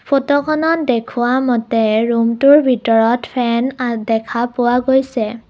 ফটোখনত দেখুওৱা মতে ৰুমটোৰ ভিতৰত ফেন অ দেখা পোৱা গৈছে।